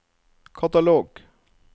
katalog